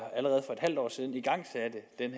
det